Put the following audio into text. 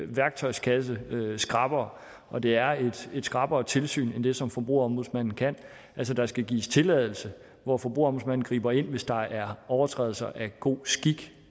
værktøjskasse skrappere og det er et skrappere tilsyn i forhold til det som forbrugerombudsmanden kan altså der skal gives tilladelse hvor forbrugerombudsmanden griber ind hvis der er overtrædelser af god skik